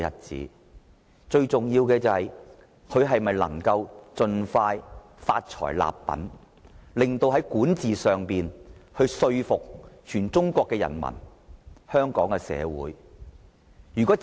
最重要的是，他能否盡快發財立品，在管治方面令全中國人民和香港市民信服。